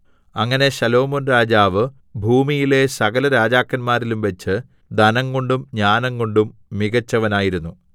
അങ്ങനെ ശലോമോൻ രാജാവ് ഭൂമിയിലെ സകലരാജാക്കന്മാരിലും വെച്ച് ധനംകൊണ്ടും ജ്ഞാനംകൊണ്ടും മികെച്ചവനായിരുന്നു